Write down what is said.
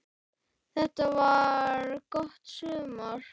Þetta var gott sumar.